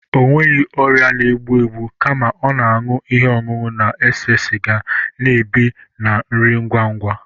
Ọ nweghị ọrịa na-egbu egbu kama ọ na-aṅụ ihe ọṅụṅụ na-ese siga, na-ebi na nri ngwa ngwa